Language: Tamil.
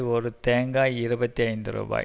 ஒரு தேங்காய் இருபத்தி ஐந்து ரூபாய்